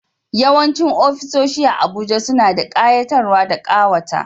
Yawancin ofisoshi a Abuja suna da kayatarwa da kawata